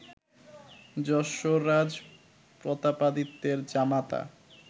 যশোররাজ প্রতাপাদিত্যের জামাতা